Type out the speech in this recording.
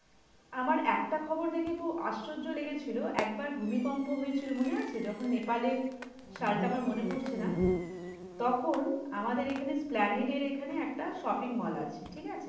আমার একটা খবর দেখে খুব আশ্চর্য লেগেছিল, একবার ভূমিকম্প হয়েছিল মনে আছে? যখন Nepal এ, সালটা আমার মনে পড়ছে না, তখন আমাদের এখানে, এসপ্ল্যানেডের এখানে একটা shopping mall আছে, ঠিক আছে?